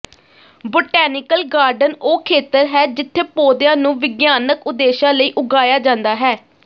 botanical garden ਉਹ ਖੇਤਰ ਹੈ ਜਿੱਥੇ ਪੌਦਿਆਂ ਨੂੰ ਵਿਗਿਆਨਕ ਉਦੇਸ਼ਾਂ ਲਈ ਉਗਾਇਆ ਜਾਂਦਾ ਹੈ